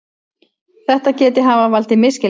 Þetta geti hafa valdið misskilningi